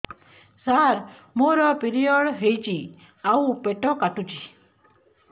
ସାର ମୋର ପିରିଅଡ଼ ହେଇଚି ଆଉ ପେଟ କାଟୁଛି